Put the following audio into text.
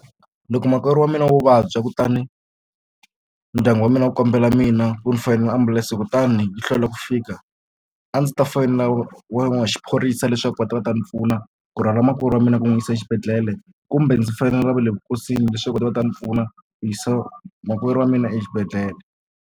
Loko makwerhu wa mina wo vabya kutani ndyangu wa mina wu kombela mina ku ni foyinela ambulense kutani yi hlwela ku fika a ndzi ta foyinela wa n'wi xiphorisa leswaku va ta va ta ni pfuna ku rhwala makwerhu wa mina ku n'wi yisa exibedhlele kumbe ndzi fanele vale leswaku va ta va ta ni pfuna ku yisa makwerhu wa mina exibedhlele.